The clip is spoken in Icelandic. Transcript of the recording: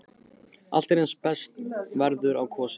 Allt er eins og best verður á kosið.